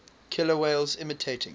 killer whales imitating